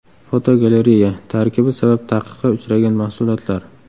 Fotogalereya: Tarkibi sabab taqiqqa uchragan mahsulotlar.